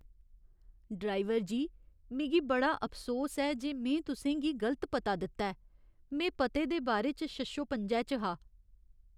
Driver जी! मिगी बड़ा अफसोस ऐ जे में तुसें गी गलत पता दित्ता ऐ। में पते दे बारे च शशोपंजै च हा।